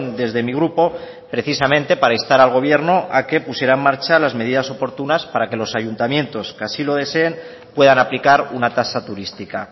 desde mi grupo precisamente para instar al gobierno a que pusiera en marcha las medidas oportunas para que los ayuntamientos que así lo deseen puedan aplicar una tasa turística